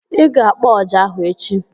I ga-akpọ ọjà ahụ echi!